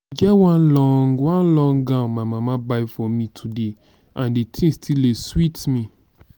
e get one long one long gown my mama buy for me today and the thing still dey sweet me